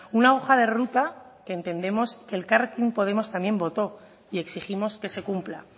una hoja de ruta que entendemos que elkarrekin podemos también votó y exigimos que se cumpla